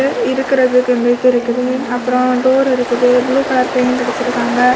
இருக்கிறது இந்த இது இருக்குது அப்புறம் டோர் இருக்குது ப்ளூ கலர் பெயிண்ட் அடிச்சு இருக்காங்க.